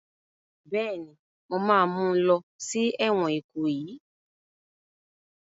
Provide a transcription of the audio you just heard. Bẹ́ẹ̀ni, mo ma mú lọ sí ẹ̀wọ̀n Ìkòyí